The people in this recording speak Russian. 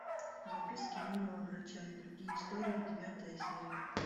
записки юного врача и другие истории девятая серия